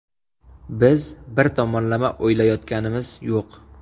Biz bir tomonlama o‘ylayotganimiz yo‘q.